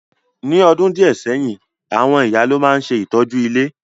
Ní odùn díẹ̀ sẹ́yìn, àwon ìyá lo ma n se ìtọ́jú ilé.